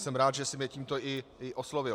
Jsem rád, že jsem je tímto i oslovil.